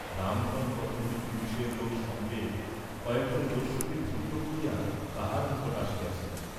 রামধন কতকগুলি পুলিসের লোক সঙ্গে কয়েক জন দস্যুকে ধৃত করিয়া তাঁহার নিকট আসিয়াছিল।